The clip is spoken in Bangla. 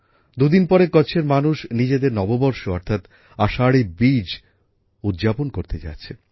দুদিন পরে কচ্ছের মানুষ নিজেদের নববর্ষ অর্থাৎ আষাঢ়ী বীজ উদযাপন করতে যাচ্ছে